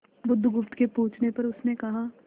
बुधगुप्त के पूछने पर उसने कहा